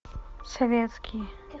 советские